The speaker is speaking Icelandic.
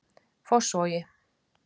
Fossvogi